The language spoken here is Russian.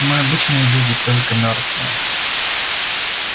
мы обычные люди только мёртвые